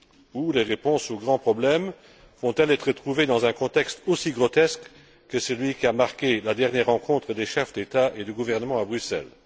Ou les réponses aux grands problèmes vont elles être trouvées dans un contexte aussi grotesque que celui qui a marqué la dernière rencontre des chefs d'État et de gouvernement à Bruxelles?